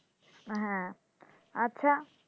হ্যাঁ, আচ্ছা।